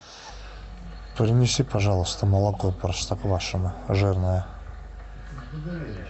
принеси пожалуйста молоко простоквашино жирное